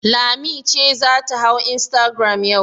Lami ce za ta hau instagram yau.